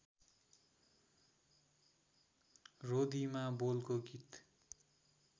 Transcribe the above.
रोदीमा बोलको गीत